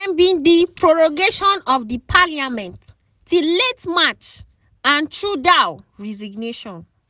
dem be di prorogation of di parliament till late march and trudeau resignation